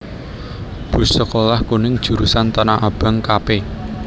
Bus Sekolah Kuning Jurusan Tanah Abang Kp